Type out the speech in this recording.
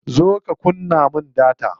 Zo ka kunna min data.